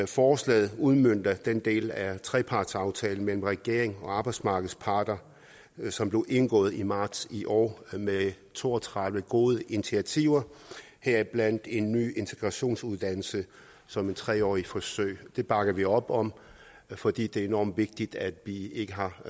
forslaget udmønter den del af trepartsaftalen mellem regeringen og arbejdsmarkedets parter som blev indgået i marts i år med to og tredive gode initiativer heriblandt en ny integrationsuddannelse som et tre årig t forsøg det bakker vi op om fordi det er enormt vigtigt at vi ikke har